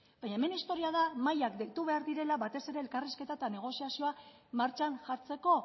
baina hemen historia da mahaiak deitu behar direla batez ere elkarrizketa eta negoziazioa martxan jartzeko